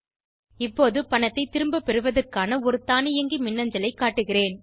இப்போது பணத்தை திரும்பப்பெறுவதற்கான ஒரு தானியங்கி மின்னஞ்சலை காட்டுகிறேன்